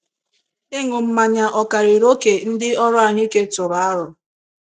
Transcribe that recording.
Ịṅụ mmanya ọ̀ karịrị oke ndị ọrụ ahụike tụrụ aro?